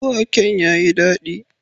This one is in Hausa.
Waken ya yi dadi.